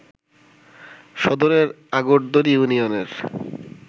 সদরের আগরদড়ি ইউনিয়নের